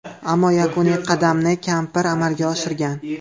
Ammo yakuniy qadamni kampir amalga oshirgan.